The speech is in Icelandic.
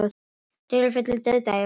Dularfullur dauðdagi á flugvelli